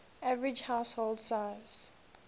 average household size